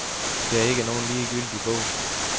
Det er ikke nogen ligegyldig bog.